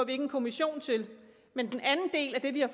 en kommission til men den anden del det vi har